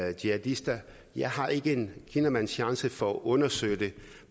er jihadister jeg har ikke en kinamands chance for at undersøge det